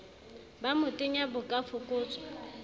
ba motenya bo ka fokotswa